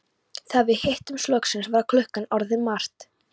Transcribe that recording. Þegar við hittumst loksins var klukkan orðin margt.